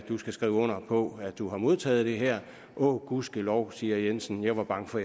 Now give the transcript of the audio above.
du skal skrive under på at du har modtaget det her åh gudskelov siger jensen jeg var bange for